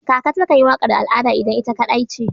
Kaka takan yi waƙar al'ada idan ita kaɗai ce